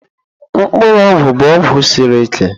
Mkpuru ogwu bụ ọgwụ siri ike.